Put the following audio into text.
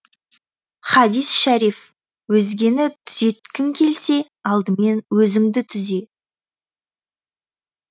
хадис шәриф өзгені түзеткің келсе алдымен өзіңді түзе